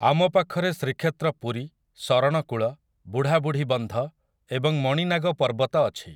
ଆମ ପାଖରେ ଶ୍ରୀକ୍ଷେତ୍ର ପୁରୀ, ଶରଣକୂଳ, ବୁଢ଼ାବୁଢ଼ୀ ବନ୍ଧ ଏବଂ ମଣିନାଗ ପର୍ବତ ଅଛି ।